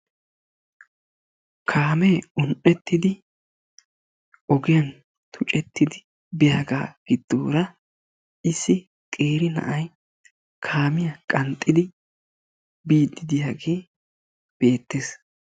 kaamee un'etidi ogiyan tuccettidi biyaga gidoora issi qeeri na'ay kaamiya qanxxidi biidi diyagee beettees.